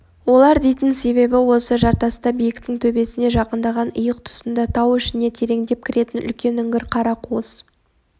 олай дейтін себебі осы жартасты биіктің төбесіне жақындаған иық тұсында тау ішіне тереңдеп кіретін үлкен үңгір қара қуыс